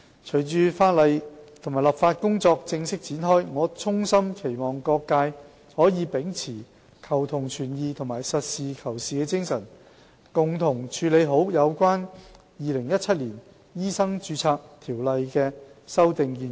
隨着立法工作正式展開，我衷心期望各界可以秉持求同存異和實事求是的精神，共同處理好有關《2017年條例草案》的修訂建議。